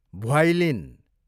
violin